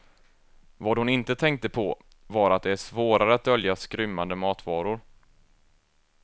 Vad hon inte tänkte på var att det är svårare att dölja skrymmande matvaror.